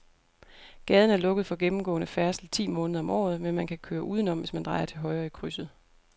Gaden er lukket for gennemgående færdsel ti måneder om året, men man kan køre udenom, hvis man drejer til højre i krydset.